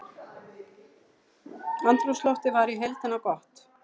Andrúmsloftið var í heildina gott